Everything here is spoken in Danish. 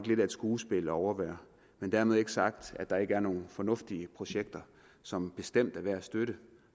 lidt af et skuespil at overvære men dermed ikke sagt at der ikke er nogen fornuftige projekter som bestemt er værd at støtte